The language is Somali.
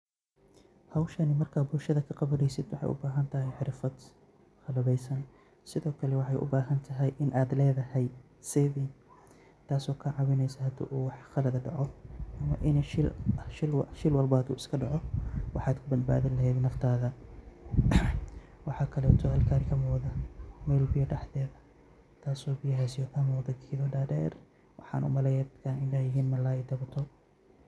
Howshani marka bulshada kaqawaneyso waxey ubahantahay xirfad qalabeysan sidokale wexey ubahantahay in ad ledahay savings taso kacawineyso hadu uu wax qalad ah daco ama shil walbo hadu iskadaco waxad kubadbadini leheed naftada. Waxa kaleto oo kamuqda meel biyo dhexdeda waxana umaleya in yihin malay.